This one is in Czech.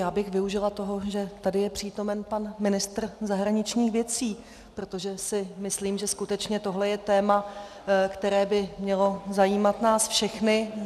Já bych využila toho, že tady je přítomen pan ministr zahraničních věcí, protože si myslím, že skutečně tohle je téma, které by mělo zajímat nás všechny.